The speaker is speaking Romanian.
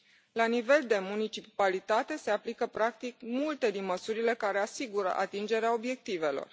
La nivel de municipalitate, se aplică practic multe dintre măsurile care asigură atingerea obiectivelor.